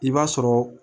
I b'a sɔrɔ